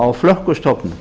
á flökkustofnum